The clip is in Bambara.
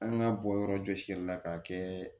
An ka bɔ yɔrɔ jɔsili la k'a kɛ